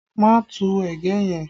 Má tu ẹ̀gẹ́ yẹn!